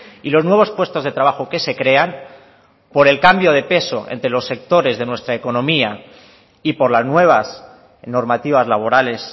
y los nuevos puestos de trabajo que se crean por el cambio de peso entre los sectores de nuestra economía y por las nuevas normativas laborales